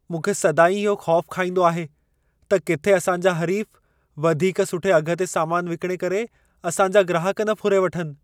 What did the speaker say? मूंखे सदाईं इहो ख़ौफ़ु खाइंदो आहे त किथे असांजा हरीफ़ वधीक सुठे अघि ते सामान विकणे करे असां जा ग्राहक न फुरे वठनि।